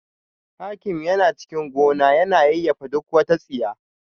Hakim yana cikin gona yana yayyafa duk wata tsiya